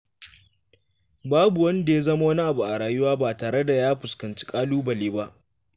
Babu wanda ya zama wani abu a rayuwa ba tare da ya fuskanci ƙalubale ba.